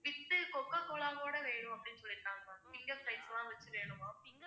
with cocacola ஓட வேணும் அப்படின்னு சொல்லிருக்காங்க ma'am finger fries லாம் வச்சு வேணும் ma'am